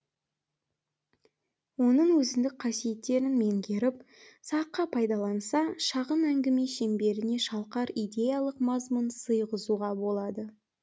оның өзіндік қасиеттерін меңгеріп сарқа пайдаланса шағын әңгіме шеңберіне шалқар идеялық мазмұн сыйғызуға болады